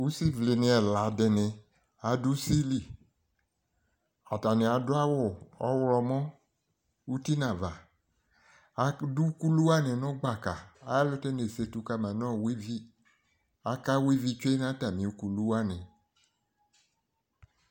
Usivlɩnɩ ɛla dɩnɩ ad'usili Atanɩ adʋ awʋ ɔɣlɔmɔ uti n'ava Adʋ ukulu wanɩ nʋ gbaka, ayɛlʋtɛ nesetu kama nʋ ɔwa ivi Aka wa ivi tsue n'atamɩ ukulu wanɩ